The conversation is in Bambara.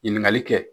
Ɲininkali kɛ